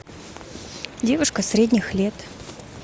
девушка средних лет